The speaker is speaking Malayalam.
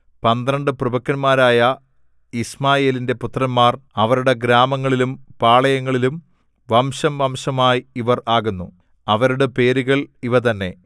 പന്ത്രണ്ട് പ്രഭുക്കന്മാരായ യിശ്മായേലിന്റെ പുത്രന്മാർ അവരുടെ ഗ്രാമങ്ങളിലും പാളയങ്ങളിലും വംശംവംശമായി ഇവർ ആകുന്നു അവരുടെ പേരുകൾ ഇവ തന്നെ